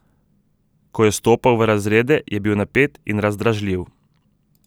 Ko je stopal v razrede, je bil napet in razdražljiv.